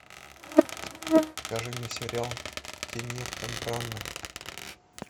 покажи мне сериал кеннета браны